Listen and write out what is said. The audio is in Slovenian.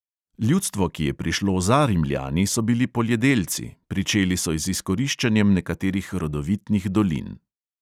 Ljudstvo, ki je prišlo za rimljani, so bili poljedelci, pričeli so z izkoriščanjem nekaterih rodovitnih dolin.